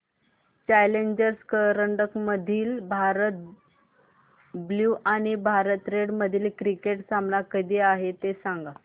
challenger करंडक मधील Bharat blue आणि भारत रेड मधील क्रिकेट सामना कधी आहे ते सांगा